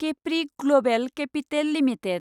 Capri Global Capital limited